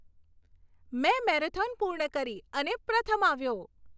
મેં મેરેથોન પૂર્ણ કરી અને પ્રથમ આવ્યો.